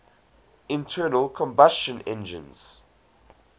internal combustion engines